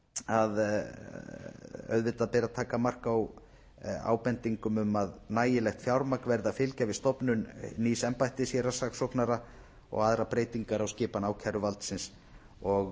að auðvitað beri að taka mark á ábendingum um að nægilegt fjármagn verði að fylgja við stofnun nýs embættis héraðssaksóknara og aðrar breytingar á skipan ákæruvaldsins og